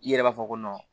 I yɛrɛ b'a fɔ ko